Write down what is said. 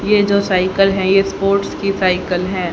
ये जो साइकिल है ये स्पोर्ट्स की साइकिल है।